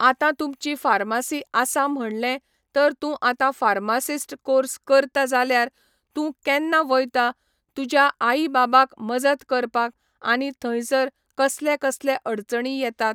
आतां तुमची फार्मासी आसा म्हणले तर तूं आतां फार्मासिस्ट कोर्स करता जाल्यार तूं केन्ना वयता तुज्या आई बाबाक मजत करपाक आनी थंयसर कसले कसले अडचणी येतात